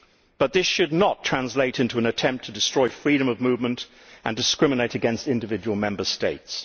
But this should not translate into an attempt to destroy freedom of movement and discriminate against individual Member States.